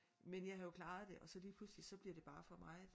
Men jeg har jo klaret det og så lige pludselig så bliver det bare for meget